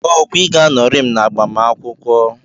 Okwa Ị ga-anọrị m n'agbamakwụkwọ?